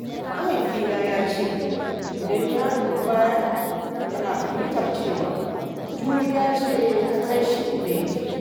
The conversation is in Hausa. Mahaifina ya ce idan ya dubi baya, yana fahimtar cewa juriya ce ta kai shi inda yake.